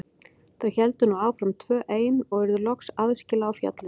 Þau héldu nú áfram tvö ein og urðu loks aðskila á fjallinu.